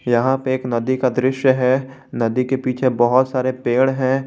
यहां पे एक नदी का दृश्य है नदी के पीछे बहुत सारे पेड़ हैं।